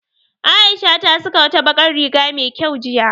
Aisha ta saka wata bakar riga me kyau jiya